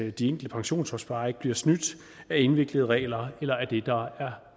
at de enkelte pensionsopsparere ikke bliver snydt af indviklede regler eller af det der er